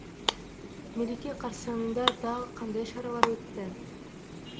мереке қарсаңында тағы қандай шаралар өтті